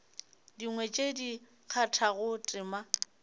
dingwe tše di kgathago tema